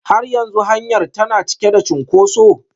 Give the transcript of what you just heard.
Har yanzu hanyar tana cike da cunkoso?